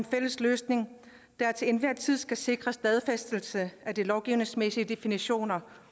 fælles løsninger der til enhver tid skal sikre stadfæstelse af de lovgivningsmæssige definitioner